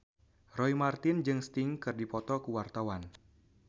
Roy Marten jeung Sting keur dipoto ku wartawan